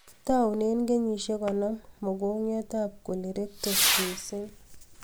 Taune kenyshek konom mongongiot ab colorectal missing